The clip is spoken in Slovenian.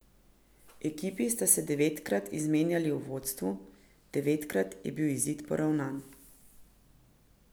Ekipi sta se devetkrat izmenjali v vodstvu, devetkrat je bil izid poravnan.